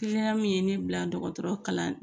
Kiliyan min ye ne bila dɔgɔtɔrɔ kalan